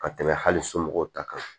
Ka tɛmɛ hali somɔgɔw ta kan